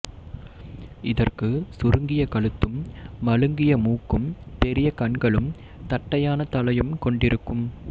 இதற்கு சுருங்கிய கழுத்தும் மழுங்கிய மூக்கும் பெரிய கண்களும் தட்டையான தலையும் கொண்டிருக்கும்